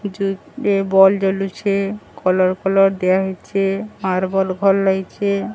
ଏ ବଲ ଜଲୁଛେ। କଲର ଫଲର ଦିଆ ହେଇଛେ। ଆର ବଲ ଫଲ ଲାଗିଛେ।